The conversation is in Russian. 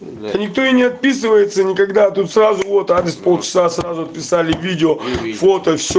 никто и не отписывается никогда а тут сразу вот обед полчаса сразу отписали видео